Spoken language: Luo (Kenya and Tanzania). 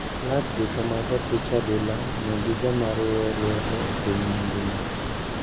Klab duto mag opich adhula nigi joma riwe lwedo e piny mangima.